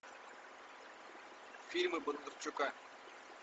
фильмы бондарчука